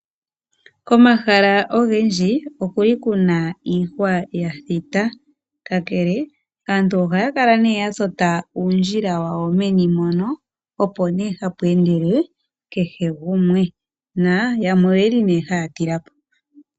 Komahala ogendji okuli kuna iihwa ya thita, kakele aantu ohaya kala nee ya tota uundjila wawo meni mono, opo nee hapu endele kehe gumwe. Na yamwe oye li nee haya tila po.